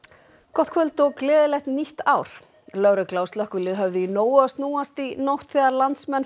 gott kvöld og gleðilegt nýtt ár lögregla og slökkvilið höfðu í nógu að snúast í nótt þegar landsmenn